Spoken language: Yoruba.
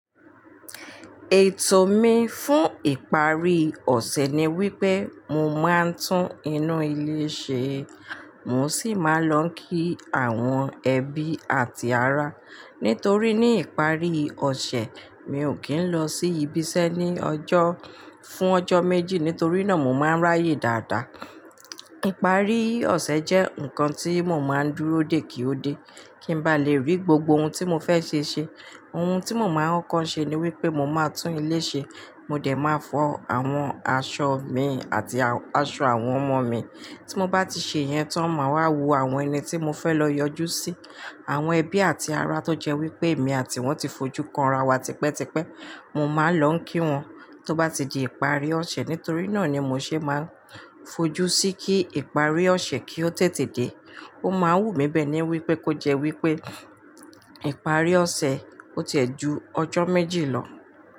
Ètò mi fún ìparí ọ̀ṣẹ̀ ni wípé mo máa ń tún inú ilé ṣe, mò sì máa ń lọ kí àwọn ẹbí àti ará. Nítorí ní ìparí ọ̀ṣẹ̀, mi ò kí ń lọ sí ibiṣẹ́ ní ọjọ́, fún ọjọ́ méjì nítorí náà mo máa ń ráyè dáadáa. Ìparí ọ̀ṣẹ̀ jẹ́ nǹkan tí mo máa ń dúró dè kí ó dé, kí n bá lè rí gbogbo ohun tí mo fẹ́ ṣe ṣe. Ohun tí mo máa ń kọ́ ń ṣe ni wípé mo máa tún ilé ṣe, mo dẹ̀ máa fọ àwọn aṣọ mi àti aṣọ àwọn ọmọ mi. Tí mo bá ti ṣe yẹn tan, máa wá wo àwọn ẹni tí mo fẹ́ lọ yọjú sí. Àwọn ẹbí àti ará tó jẹ́ wípé èmi àti wón ti fojú kanra wa tipẹ́tipẹ́, mo máa lọ ń kí wọn. Tó bá ti di ìparí ọ̀ṣẹ̀, nítorí náà ni mo ṣe máa fojú sí kí ìparí ọ̀ṣẹ̀ kí ó tètè dé. Ó máa wù mí bẹ́ẹ̀ ni wípé kó jẹ́ wípé ìparí ọ̀ṣẹ̀ ó tiẹ̀ ju ọjọ́ méjì lọ.